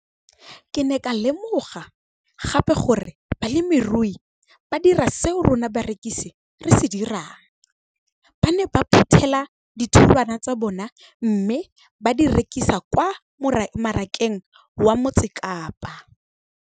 Ke ne ka lemoga gape gore balemirui ba dira seo rona barekisi re se dirang - ba ne ba phuthela ditholwana tsa bona mme ba di rekisa kwa marakeng wa Motsekapa.